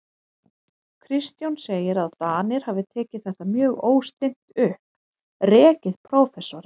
Kristján segir, að Danir hafi tekið þetta mjög óstinnt upp, rekið prófessorinn